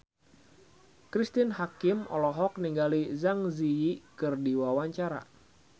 Cristine Hakim olohok ningali Zang Zi Yi keur diwawancara